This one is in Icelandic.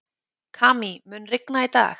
Kamí, mun rigna í dag?